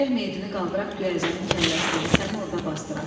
Gərək meytini qaldıraq, göyəzənin kəlləsinə, səni orda basdıraq.